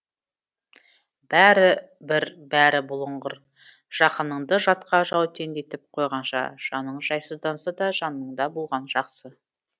бәрібір бәрі бұлыңғыр жақыныңды жатқа жәутеңдетіп қойғанша жаның жайсызданса да жаныңда болғаны жақсы